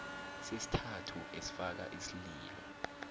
sesithathu esifaka isililo